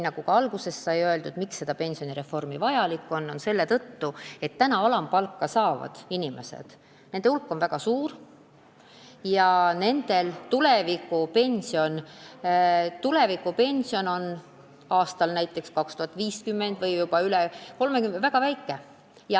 Nagu alguses sai öeldud, miks see pensionireform vajalik on: just nimelt selle tõttu, et alampalka saavate inimeste hulk on väga suur ja nende tulevikupension oleks näiteks aastal 2050 või isegi juba pärast 2030. aastat väga väike.